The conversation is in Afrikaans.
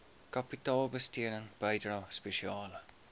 kapitaalbesteding bydrae spesiale